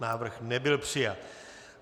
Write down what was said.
Návrh nebyl přijat.